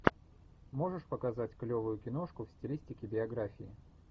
можешь показать клевую киношку в стилистике биографии